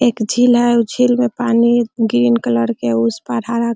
एक झील है उ झील में पानी ग्रीन कलर के उस पर हरा --